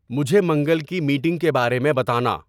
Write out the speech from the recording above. مجھے منگل کی میٹنگ کے بارے میں بتانا